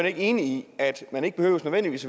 ikke enig i at man ikke nødvendigvis